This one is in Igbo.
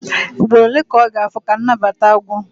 Ugboro ole ka ọ ga-afọ ka nnabata ha gwụ?